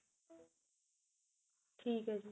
ਠੀਕ ਏ ਜੀ